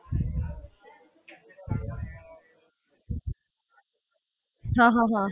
હાં, હાં, હાં.